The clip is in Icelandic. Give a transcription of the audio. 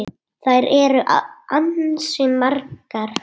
Þær eru ansi margar.